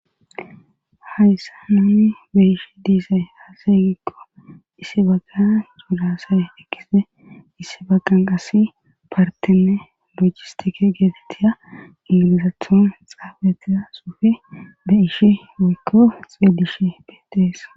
hayssa hinni be ishi diisay hasayygikko issi bagan yuulasay ekise issi baqan qasi partenne lojistike geetetiya ilalizaathon xaabetiza suufi be ishi woykko xelish beetees